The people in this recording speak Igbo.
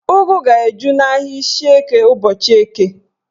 Ụgụ ga-eju n'ahịa Ishieke ụbọchị Eke